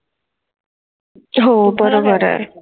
हो बरोबर आहे.